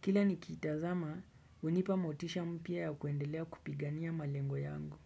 Kila nikitazamah unipa motisha mpya ya kuendelea kupigania malengo yangu.